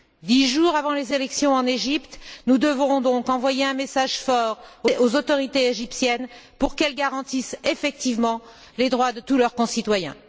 Dix jours avant les élections en Égypte, nous devons donc envoyer un message fort aux autorités égyptiennes pour qu'elles garantissent effectivement les droits de tous leurs concitoyens.